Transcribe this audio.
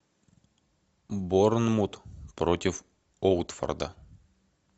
борнмут против уотфорда